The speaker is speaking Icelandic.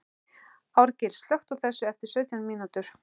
Árgils, slökktu á þessu eftir sautján mínútur.